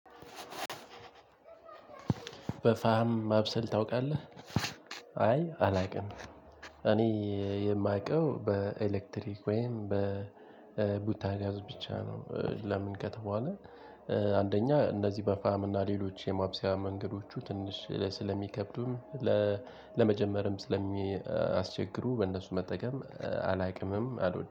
በፋሃም ማብሰል ታውቃለህ አይ አላውቅም። እኔ የማውቀው በኤሌክትሪክ ወይም በቡታ ጋዝ ብቻ ነው። ለምን ከተባለ። አንደኛ እነዚህ በፋም እና ሌሎች የማብሰያ መንገዶቹ ትንሽ ስለሚከብዱም ለ ለመጀመርም ስለሚያስቸግሩ በእነሱ መጠቀም አላውቅምም አልወድም